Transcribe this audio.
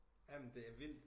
Ja men det er vildt